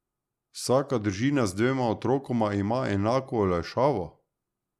Vsaka družina z dvema otrokoma ima enako olajšavo?